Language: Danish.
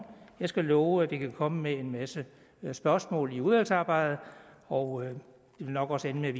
jeg skal love at vi vil komme med en masse spørgsmål i udvalgsarbejdet og det vil nok også ende med